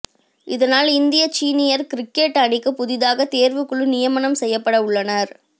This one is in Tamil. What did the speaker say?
இதனால் இந்திய சீனியர் கிரிக்கெட் அணிக்கு புதிதாக தேர்வுக்குழு நியமனம் செய்யப்பட உள்ளனர்